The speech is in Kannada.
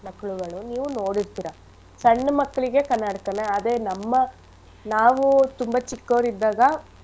ಮಕ್ಳುಗಳು ನೀವು ನೋಡಿರ್ತಿರ ಸಣ್ಣ ಮಕ್ಕಳಿಗೆ ಕನ್ನಡಕನ ಅದೇ ನಮ್ಮ ನಾವು ತುಂಬಾ ಚಿಕ್ಕೋರಿದ್ದಾಗ.